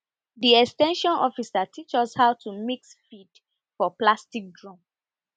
the ex ten sion officer teach us how to mix feed for plastic drum